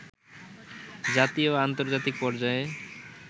জাতীয় ও আন্তর্জাতিক পর্যায়ে